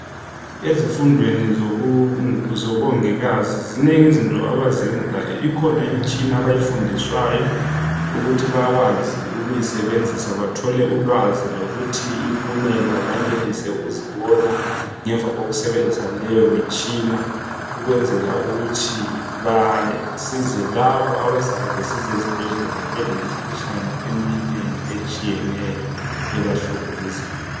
Ezifundweni zobongikazi zinengi izinto abazenzayo. Ikhona imitshina abayifundiswayo ukuthi bakwazi ukuyisebenzisa bathole ulwazi lokuthi impumela bayenelise ukuzibona ngemva kokusebenzisa leyomitshina ukwenzela ukuthi basize labo abazabe besiza ezibhedlela belemkhuhlane eminengi etshiyeneyo ebahlukuluzayo.